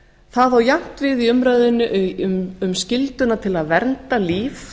það á jafnt við í umræðunni um skylduna til að vernda líf